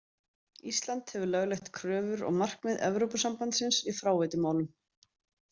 Ísland hefur lögleitt kröfur og markmið Evrópusambandsins í fráveitumálum.